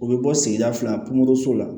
U bɛ bɔ sigida fila pomoroso la